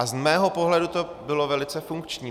A z mého pohledu to bylo velice funkční.